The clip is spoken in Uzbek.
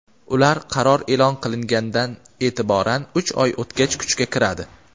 ular qaror e’lon qilingandan e’tiboran uch oy o‘tgach kuchga kiradi.